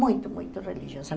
Muito, muito religiosa.